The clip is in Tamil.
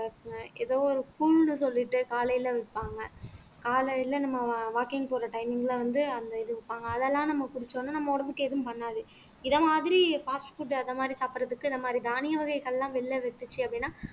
இந்த ஏதோ ஒரு கூல்னு சொல்லிட்டு காலையில விப்பாங்க காலையில நம்ம walking போற timing ல வந்து அந்த இது விப்பாங்க அதெல்லாம் நம்ம குடிச்ச உடனே நம்ம உடம்புக்கு எதுவும் பண்ணாது இத மாதிரி fast food அந்த மாதிரி சாப்பிடறதுக்கு இந்த மாதிரி தானிய வகைகள் எல்லாம் வெளியில வித்துச்சு அப்படின்னா